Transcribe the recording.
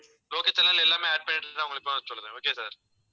local channel எல்லாமே add பண்ணிட்டு நான் உங்களுக்கு இப்பவே சொல்றேன் okay sir